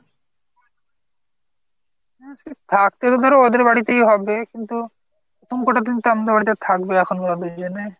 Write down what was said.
হম সে থাকতে তো ধর ওদের বাড়িতেই হবে। কিন্তু প্রথম কত দিন তো থাকবে ওখানে